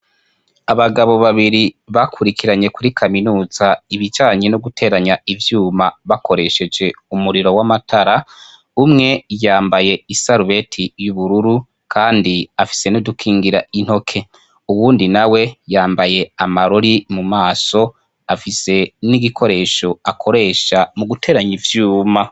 Abagabo babiri bakurikiranye kuri kaminuza ibijanye n'uguteranya ivyuma bakoresheje umuriro w'amatara, umwe yambaye isarubete y'ubururu kandi afise n'udukingira intoke, uwundi nawe yambaye amarori mu maso afise n'igikoresho akoresha mu guteranya ivyuma.